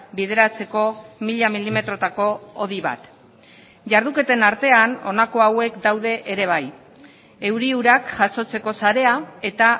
bideratzeko mila milimetrotako hodi bat jarduketen artean honako hauek daude ere bai euri urak jasotzeko sarea eta